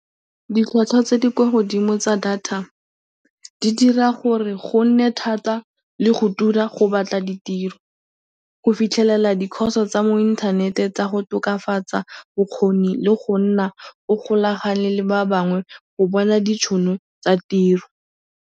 Ditlhwatlhwa tse di kwa godimo tsa data di dira gore go nne thata le go tura go batla ditiro. Go fitlhelela di-course tsa mo inthanete tsa go tokafatsa bokgoni le go nna o golagane le ba bangwe go bona ditšhono tsa tiro.